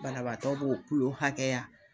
Banabaatɔ b'o hakɛya .